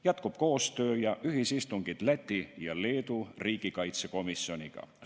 Jätkuvad ühisistungid ning muu koostöö Läti ja Leedu riigikaitsekomisjoniga.